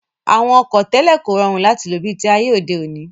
Àwọn ọkọ̀ tẹ́lẹ̀ kò rọrùn láti lò bi ti ayé òde òní